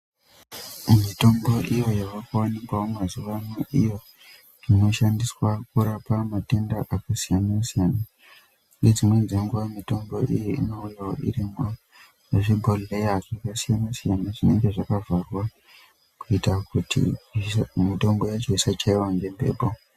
Mitombo iyo yavakuwanikawo mazuva anaya iyo inoshandiswa kurapa matenda akasiyana siyana ngedzimweni dzenguwa mitombo iyi inouya iri muzvigohlera zvakasiyana siyana zvinenge zvakavharwa kuita kuti mitombo yacho isachaiwa ngemhepo.